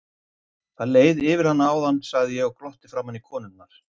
Það leið yfir hana áðan, sagði ég og glotti framan í konurnar.